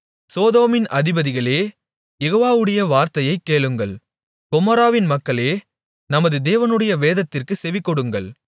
சோதோமின் அதிபதிகளே யெகோவாவுடைய வார்த்தையைக் கேளுங்கள் கொமோராவின் மக்களே நமது தேவனுடைய வேதத்திற்குச் செவிகொடுங்கள்